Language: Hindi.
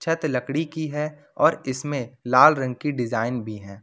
छत लकड़ी की है और इसमें लाल रंग की डिजाइन भी है।